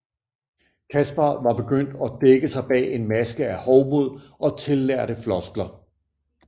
Kaspar var begyndt at dække sig bag en maske af hovmod og tillærte floskler